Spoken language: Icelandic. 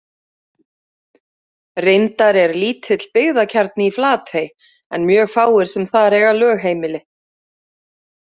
Reyndar er lítill byggðakjarni í Flatey en mjög fáir sem þar eiga lögheimili.